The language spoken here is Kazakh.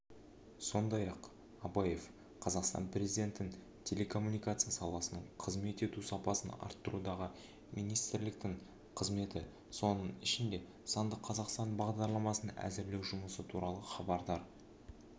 сондай-ақ абаев қазақстан президентін телекоммуникация саласының қызмет ету сапасын арттырудағы министрліктің қызметі соның ішінде сандық қазақстан бағдарламасын әзірлеу жұмысы туралы хабардар